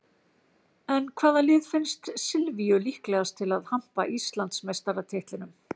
En hvaða lið finnst Silvíu líklegast til að hampa Íslandsmeistaratitlinum?